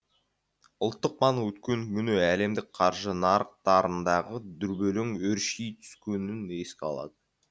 ұлттық банк өткен күні әлемдік қаржы нарықтарындағы дүрбелең өрши түскенін еске алад